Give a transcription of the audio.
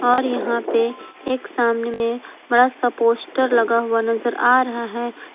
और यहां पे एक सामने में बड़ा सा पोस्टर लगा हुआ नजर आ रहा है।